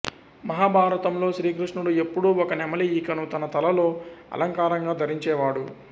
మహాభారతంలో శ్రీకృష్ణుడు ఎప్పుడూ ఒక నెమలి ఈకను తన తలలో అలంకారంగా ధరించేవాడు